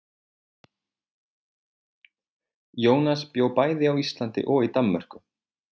Jónas bjó bæði á Íslandi og í Danmörku.